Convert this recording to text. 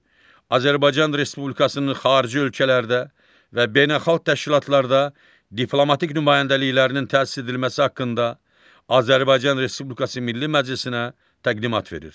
Azərbaycan Respublikasının xarici ölkələrdə və beynəlxalq təşkilatlarda diplomatik nümayəndəliklərinin təsis edilməsi haqqında Azərbaycan Respublikası Milli Məclisinə təqdimat verir.